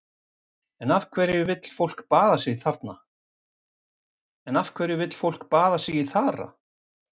En af hverju vill fólk baða sig í þara?